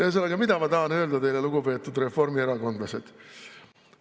Ühesõnaga, mida ma tahan öelda teile, lugupeetud reformierakondlased?